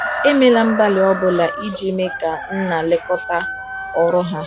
emela mgbali ọbụna ijii mee ka nna lekota ọrụ ha